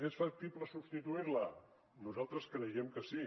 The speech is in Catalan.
és factible substituir la nosaltres creiem que sí